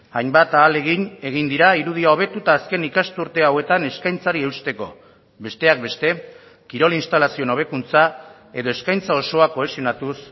hainbat ahalegin egin dira irudia hobetu eta azken ikasturte hauetan eskaintzari eusteko besteak beste kirol instalazioen hobekuntza edo eskaintza osoa kohesionatuz